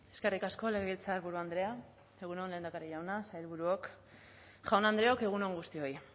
eskerrik asko legebiltzarburu andrea egun on lehendakari jauna sailburuok jaun andreok egun on guztioi